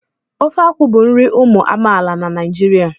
Ofe akwụ bụ nri ụmụ amaala na Naijiria.